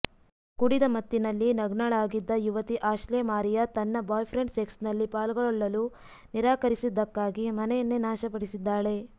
ಕುಡಿದ ಮತ್ತಿನಲ್ಲಿ ನಗ್ನಳಾಗಿದ್ದ ಯುವತಿ ಆಶ್ಲೆ ಮಾರಿಯಾ ತನ್ನ ಬಾಯ್ಫ್ರೆಂಡ್ ಸೆಕ್ಸ್ನಲ್ಲಿ ಪಾಲ್ಗೊಳ್ಳಲು ನಿರಾಕರಿಸಿದ್ದಕ್ಕಾಗಿ ಮನೆಯನ್ನೇ ನಾಶಪಡಿಸಿದ್ದಾಳೆ